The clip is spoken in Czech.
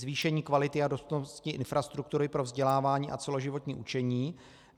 Zvýšení kvality a dostupnosti infrastruktury pro vzdělávání a celoživotní učení.